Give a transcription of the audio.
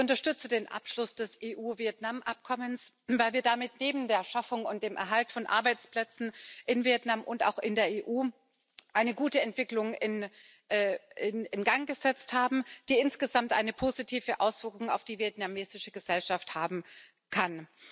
Ich unterstütze den Abschluss des EU Vietnam Abkommens, weil wir damit neben der Schaffung und dem Erhalt von Arbeitsplätzen in Vietnam und auch in der EU eine gute Entwicklung in Gang gesetzt haben, die insgesamt eine positive Auswirkung auf die vietnamesische Gesellschaft haben kann.